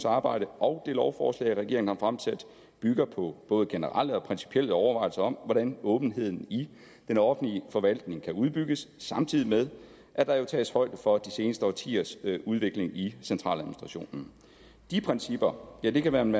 arbejde og det lovforslag regeringen har fremsat bygger på både generelle og principielle overvejelser om hvordan åbenheden i den offentlige forvaltning kan udbygges samtidig med at der jo tages højde for de seneste årtiers udvikling i centraladministrationen de principper kan man